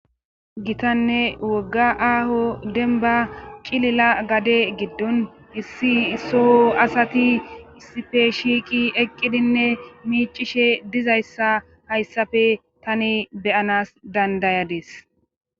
Gitanne wogga aaho denba cilila gade giddon hissi soho asati issife shiiqi eqqidinne miicishe dizayssa hayssafe tani beyanas dandayades.